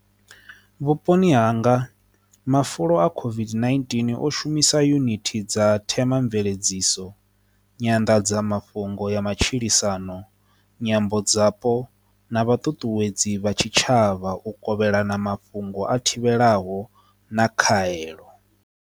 Vhuponi hanga mafulo a COVID-19 o shumisa yunithi dza themamveledziso nyanḓadzamafhungo ya matshilisano nyambo dzapo na vha ṱuṱuwedza uri vha tshitshavha u kovhelana mafhungo a thivhela ho na kha heḽo.